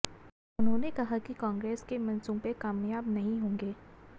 उन्होंने कहा कि कांग्रेस के मंसूबे कामयाब नहीं होंगे